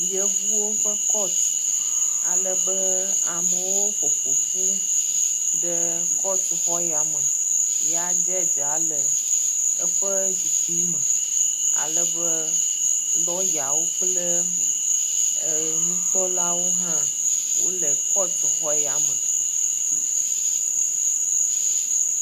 Yevuwo ƒe kɔt ale be amewo ƒoƒoƒu ɖe kɔtuxɔ ya me ya dzedzia le eƒe zikpui me ale be lɔyawo kple e nukpɔlawo hã wo le kɔtu xɔ ya me.